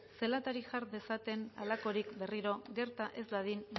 zelatari jar dezaten halakorik berriro gerta ez dadin